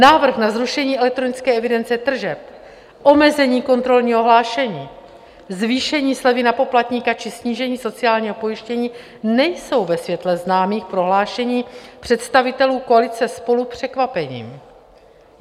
Návrh na zrušení elektronické evidence tržeb, omezení kontrolního hlášení, zvýšení slevy na poplatníka či snížení sociálního pojištění nejsou ve světle známých prohlášení představitelů koalice SPOLU překvapením.